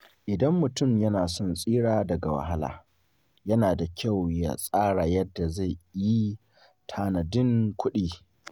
Idan mutum yana son tsira daga wahala, yana da kyau ya tsara yadda zai yi tanadin kuɗi.